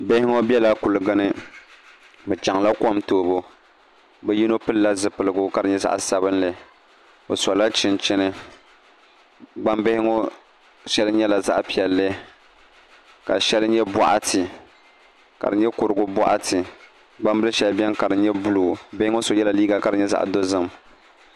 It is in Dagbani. Bihi ŋo biɛla kuligi ni bi chɛŋla kom toobu bi yino pilila zipiligu ka di nyɛ zaɣ sabinli o sola chinchini gbambihi ŋo shɛli nyɛla zaɣ piɛlli ka shɛli nyɛ boɣati ka di nyɛ kurigu boɣati gbambili shɛli biɛni ka di nyɛ buluu bihi ŋo so yɛla liiga ka di nyɛ zaɣ dozim